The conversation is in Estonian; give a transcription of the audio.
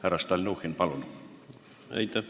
Härra Stalnuhhin, palun!